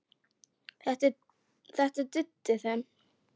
Þetta er Diddi þinn.